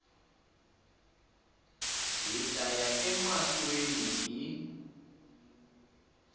hi ta ya emahlweni hi